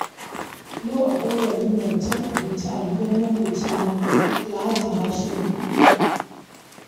Yau akwai walimar cin abinci a gidan maƙwabcina Alhaji Hashimu